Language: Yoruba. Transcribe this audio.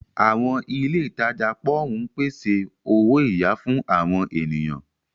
Àwọn ilé ìtajà pòwún ń pèsè owó-iyà fún àwọn ènìyàn.